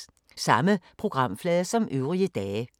Samme programflade som øvrige dage